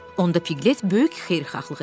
Onda Piklət böyük xeyirxahlıq elədi.